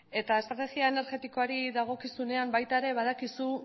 eta estrategia energetikoari dagokizunean baita ere badakizu